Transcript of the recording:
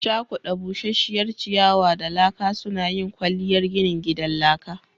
Cakuda busasshiyar ciyawa da laka suna yin kwalliyar ginin gidan laka